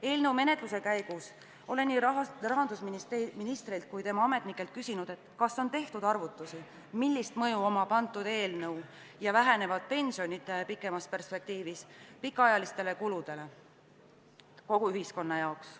Eelnõu menetluse käigus olen nii rahandusministrilt kui ka tema ametnikelt küsinud, kas on tehtud arvutusi, milline mõju on sel eelnõul ja vähenevatel pensionitel pikemas perspektiivis pikaajalistele kuludele kogu ühiskonna jaoks.